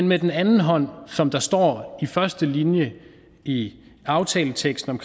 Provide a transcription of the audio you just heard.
med den anden hånd som der står i første linje i aftaleteksten